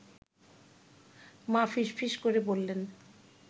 মা ফিসফিস করে বললেন